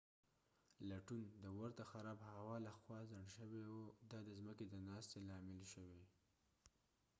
لټون د ورته خراب هوا لخوا خنډ شوی و دا د ځمکی د ناستې لامل شوی